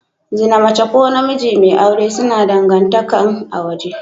Zina mace ko namiji mai aure suna dangantakan a waje.